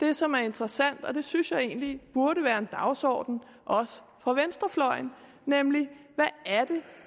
det som er interessant og det synes jeg egentlig burde være en dagsorden også for venstrefløjen